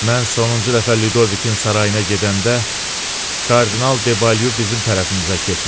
Mən sonuncu dəfə Lidovikin sarayına gedəndə Kardinal Debalyu bizim tərəfimizə keçmişdi.